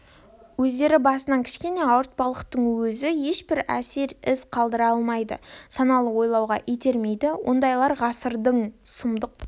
өздері басынан кішкене ауыртпалықтың өзі ешбір әсер із қалдыра алмайды саналы ойлауға итермейді ондайлар ғасырдың сұмдық